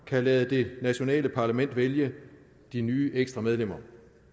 kan lade det nationale parlament vælge de nye ekstra medlemmer